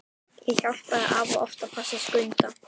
Ég hjálpaði afa oft að passa Skunda.